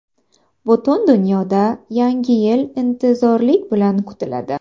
Butun dunyoda Yangi yil intizorlik bilan kutiladi.